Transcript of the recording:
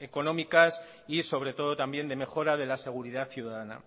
económicas y sobre todo también de mejora de la seguridad ciudadana